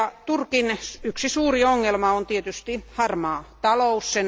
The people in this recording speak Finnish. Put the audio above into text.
Turkin yksi suuri ongelma on tietysti harmaa talous.